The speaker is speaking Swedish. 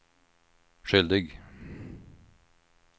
skyldig